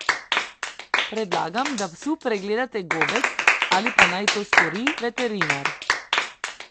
Predlagam, da psu pregledate gobec ali pa naj to stori veterinar.